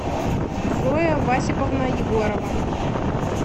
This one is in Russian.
зоя васиповна егорова